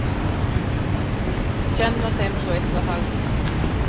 Kenna þeim svo eitthvað hagnýtt!